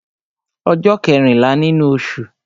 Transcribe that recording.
Ọjọ́ kẹ́rìnlá nínú osù